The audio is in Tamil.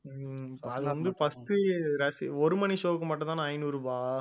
ஹம் அது வந்து first உ ரசி~ ஒரு மணி show வுக்கு மட்டும்தானா ஐந்நூறு ரூபாய்